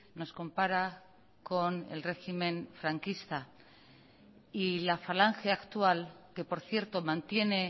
nos compara con el régimen franquista y la falange actual que por cierto mantiene